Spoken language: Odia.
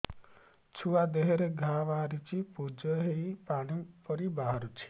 ଛୁଆ ଦେହରେ ଘା ବାହାରିଛି ପୁଜ ହେଇ ପାଣି ପରି ବାହାରୁଚି